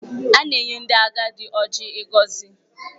A na-enye ndị agadi Ọjị ịgọzi.